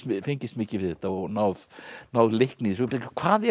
fengist mikið við þetta og náð náð leikni í þessu hvað er